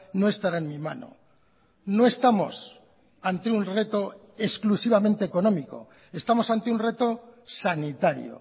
no estará en mi mano no estamos ante un reto exclusivamente económico estamos ante un reto sanitario